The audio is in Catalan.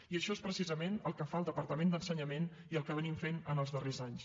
i això és precisament el que fa el departament d’ensenyament i el que hem estat fent els darrers anys